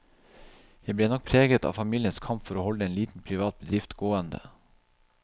Jeg ble nok preget av familiens kamp for å holde en liten privat bedrift gående.